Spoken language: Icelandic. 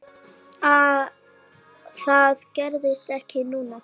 Það gerðist ekki núna.